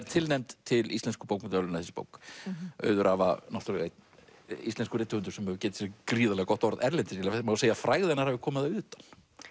tilnefnd til Íslensku bókmenntaverðlaunanna þessi bók auður Ava náttúrulega einn íslenskur rithöfundur sem hefur getið sér gríðarlega gott orð erlendis það má segja að frægð hennar hafi komið að utan